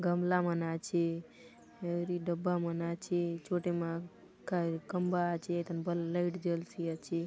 गमला मन आछे हौर ई डब्बा मन आछे छोटी माग घर खंबा आछे ठन ब लाइट जलसी आछे।